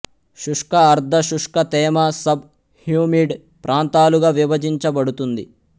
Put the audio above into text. శుష్క అర్ధ శుష్క తేమ సబ్ హ్యూమిడ్ ప్రాంతాలుగా విభజించబడుతుంది